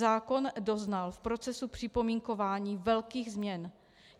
Zákon doznal v procesu připomínkování velkých změn.